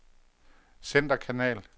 centerkanal